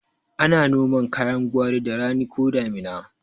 Ana noman kayan gwari da rani ko damina